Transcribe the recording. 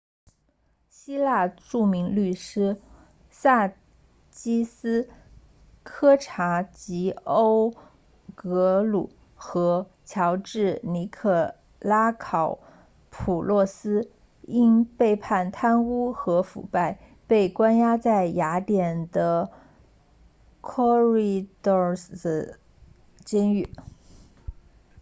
希腊著名律师萨基斯科查吉欧格鲁 sakis kechagioglou 和乔治尼可拉考普洛斯 george nikolakopoulos 因被判贪污和腐败被关押在雅典的 korydallus 监狱